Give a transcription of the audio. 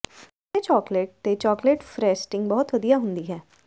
ਚਿੱਟੇ ਚਾਕਲੇਟ ਤੇ chocolate frosting ਬਹੁਤ ਵਧੀਆ ਹੁੰਦੀ ਹੈ